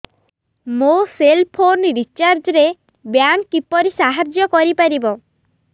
ମୋ cell phone recharge ରେ bank କିପରି ସାହାଯ୍ୟ କରିପାରିବ